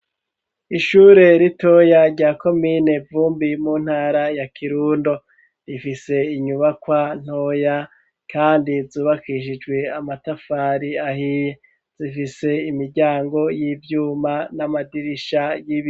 Ishure ritoya rya komine Vumbi mu ntara ya Kirundo rifise inyubakwa ntoya kandi zubakishijwe amatafari ahiye zifise imiryango y'ivyuma n'amadirisha yibiyo.